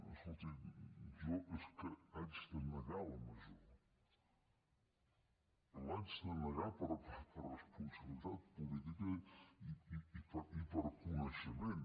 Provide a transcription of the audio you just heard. escolti jo és que haig de negar la major l’haig de negar per responsabilitat política i per coneixement